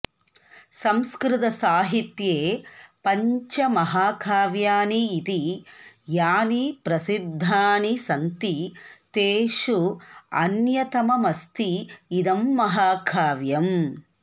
संस्कृतसाहित्ये पञ्च महाकाव्यानि इति यानि प्रसिद्धानि सन्ति तेषु अन्यतममस्ति इदं महाकाव्यम्